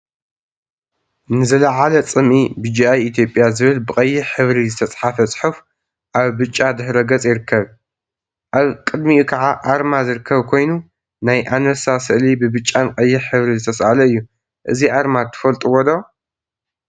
ንዝለዓለ ፅምኢ ቢጂአይ ኢትዮጵያ ዝብል ብቀይሕ ሕብሪ ዝተፀሓፈ ፅሑፍ አብ ብጫ ድሕረ ገፅ ይርከብ፡፡ አብ ቅድሚኡ ከዓ አርማ ዝርከብ ኮይኑ፤ ናይ አንበሳ ስእሊ ብብጫን ቀይሕ ሕብሪ ዝተሰአለ እዩ፡፡ እዚ አርማ ትፈልጥዎ ዶ?